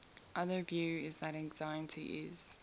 another view is that anxiety is